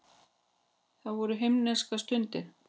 Það voru himneskar stundir.